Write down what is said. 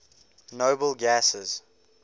noble gases